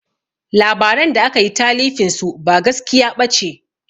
Labaran da akayi talifin su ba gaskiya ɓace